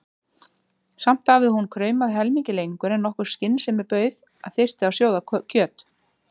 Samt hafði hún kraumað helmingi lengur en nokkur skynsemi bauð að þyrfti að sjóða kjöt.